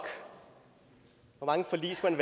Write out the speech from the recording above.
hvor mange forlig skal